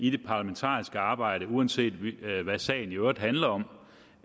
i det parlamentariske arbejde uanset hvad sagen i øvrigt handler om